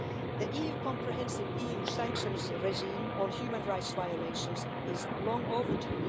The EU comprehensive sanctions regime for human rights violations is long overdue.